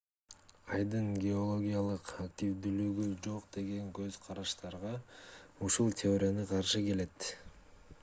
айдын геологиялык активдүүлүгү жок деген көз-карашка ушул теория каршы келет